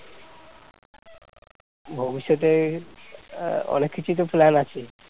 ভবিষ্যতে অনেক কিছুই তো plan আছে